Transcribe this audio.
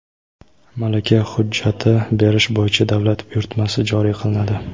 malaka hujjati berish bo‘yicha davlat buyurtmasi joriy qilinadi;.